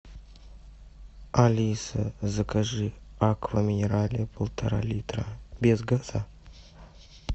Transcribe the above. алиса закажи аква минерале полтора литра без газа